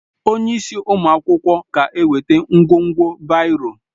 Onye isi ụmụ akwụkwọ ga-eweta ngwugwu baịro